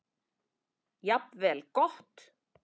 Jafnvel gott.